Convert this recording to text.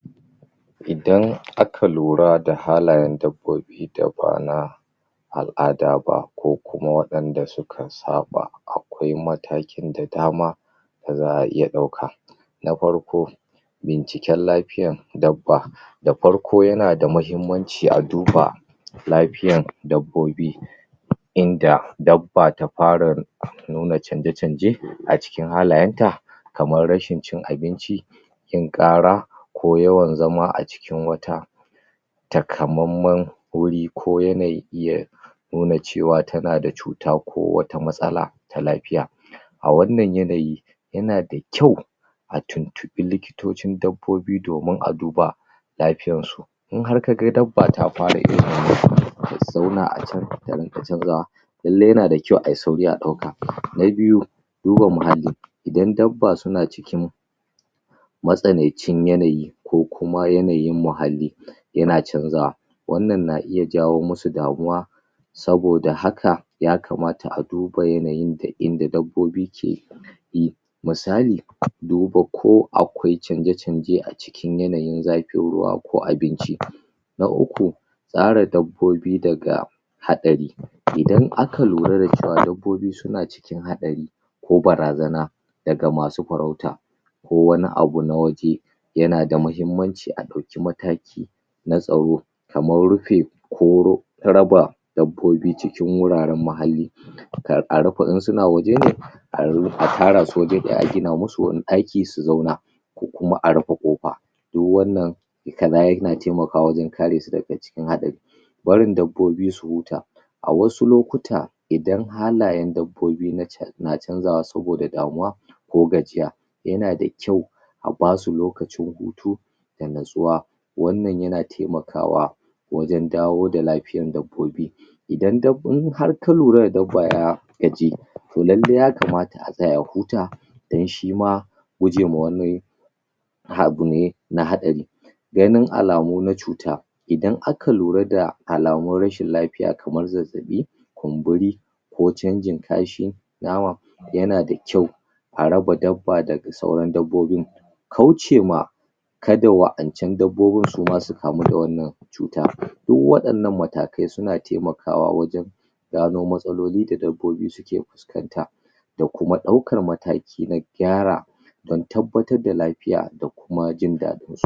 idan aka lura da halayan dabbobi daba na dabana al'ada ba ko kuma wa inda suka saɓa akwai matakin da dama daza a iya ɗauka na farko binciƙin lafiyan dabba da farko yana da mahimmanci a duba lafiyan dabbobi inda dabba ta fara nuna canje canje a cikin halayanta kamar rashin cin abinci yin ƙara ko yawan zama a jikin wata takamamman wuri ko yana iya nuna cewa tana da cuta ko wata matsala ta lafiya a wannan yanayi yana da kyau a tuntuɓi likitocin dabbobi domin a duba lafiyarsu in har kaga dabba ta fara irin wannan ta zauna a can ta ringa canzawa lallai yana da kyau ayi sauri a ɗauka na biyu duba muhalli idan dabba suna cikin matsanancin yanayi ko kuma yanayin muhalli yana canzawa wannan na iya jawo musu damuwa saboda haka ya kamata a duba yanayin da inda dabbobi keyi misali duba ko akwai canje canje a cikin yanayin zafin ruwa ko abinci na uku tsara dabbobi daga haɗari idan aka lura da cewa dabboi suna suna cikin haɗari ko bara zana daga masu farauta ko wani abu na waje yana da mahimmanci a ɗauki mataki na tsaro kamar rufe ko raba dabbobi cikin wuraran muhalli kan a rufe in suna waje ne a tarasu waje ɗaya a gina musu wani ɗaki su zauna ko kuma a rufe ƙofa duk wannan ikala yana taimakawa wajan karesu daga cikin haɗari barin dabbobi su huta a wasu lokuta idan halayan dabbobi na canzawa saboda damuwa ko gajiya yana da kyau a basu lokacin hutu da nutsuwa wannan yana taimakawa wajan dawo lafiyan dabbobi idan har ka lura da dabba ya gaji to lallai ya kamata a tsaya ya huta dan shima gujewa wani abu ne na haɗari ganin alamu na cuta idan aka lura da alamun rashin lafiya kamar zazzabi kunburi ko canjin kashi yana da kyau a raba dabba daga sauran dabbobin kaucema ka da wa ancan dabbobin suma su kamu da wannan cuta du waɗannan matakai suna taimakawa wajan gano matsaloli da dabbobi suke fuskanta da kuma ɗaukan mataki na gyara dan tabbatar da lafiya da kuma jindaɗinsu